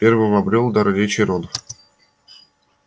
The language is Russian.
первым обрёл дар речи рон